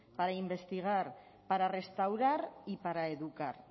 para investigar para restaurar y para educar